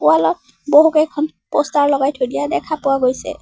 Wall ত বহুকেইখন poster লগাই থৈ দিয়া দেখা পোৱা গৈছে।